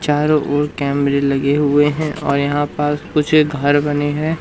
चारों ओर कैमरे लगे हुए हैं और यहां पास कुछ घर बने हैं।